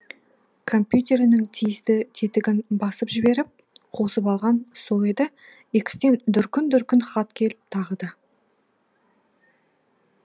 компьютерінің тиісті тетігін басып жіберіп қосып қалғаны сол еді икстен дүркін дүркін хат келіпті тағы да